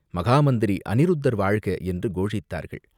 மகா மந்திரி அநிருத்தர் வாழ்க!" என்று கோஷித்தார்கள்.